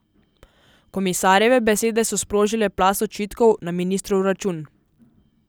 Komisarjeve besede so sprožile plaz očitkov na ministrov račun.